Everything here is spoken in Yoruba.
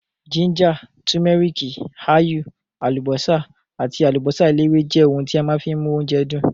Gíńjà, tùméríkì, áyù, àlùbọ́sà àti àlùbọ́sà eléwé jẹ́ ohun tí a má fi ń mú oúnjẹ dùn.